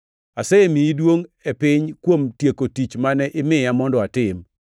Asemiyi duongʼ e piny kuom tieko tich mane imiya mondo atim.